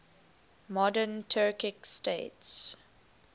modern turkic states